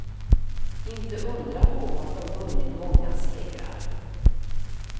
Inte undra på att de vunnit många segrar.